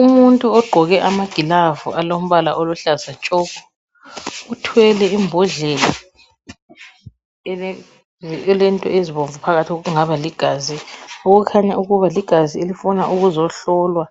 Umuntu ogqoke amagilavu alombala oluhlaza tshoko uthwele imbodlela elento ezibomvu phakathi osokungaba ligazi okukhanya ukuba ligazi elifuna ukuzohlolwa